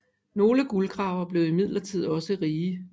Nogle guldgravere blev imidlertid også rige